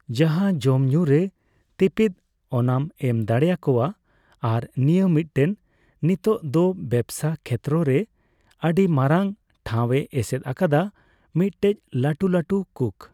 ᱡᱟᱦᱟᱸ ᱡᱚᱢᱧᱩᱨᱮ ᱛᱤᱯᱤᱛ ᱚᱱᱟᱢ ᱮᱢ ᱫᱟᱲᱮᱭᱟ ᱠᱚᱣᱟ ᱟᱨ ᱱᱤᱭᱟᱹ ᱢᱤᱫᱴᱮᱱ ᱱᱤᱛᱚᱝ ᱫᱚ ᱵᱮᱯᱥᱟ ᱠᱷᱮᱛᱨᱮ ᱨᱮ ᱟᱹᱰᱤ ᱢᱟᱨᱟᱝ ᱴᱷᱟᱹᱭ ᱮ ᱮᱥᱮᱫ ᱟᱠᱟᱫᱟ ᱢᱤᱫᱴᱮᱡ ᱞᱟᱹᱴᱩ ᱞᱟᱹᱴᱩ ᱠᱩᱠ ᱾